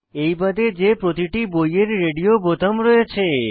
এইবাদে যে প্রতিটি বইয়ের রেডিও বোতাম রয়েছে